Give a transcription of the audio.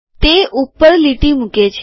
તે ઉપર લીટી મૂકે છે